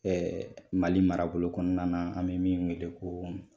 Mali marabolo kɔnɔna na, an mi min weele ko